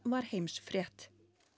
var heimsfrétt